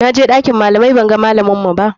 Na je ɗakin malamai banga malaminmu ba.